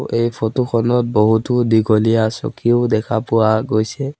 এই ফটো খনত বহুতো দীঘলীয়া চকীও দেখা পোৱা গৈছে।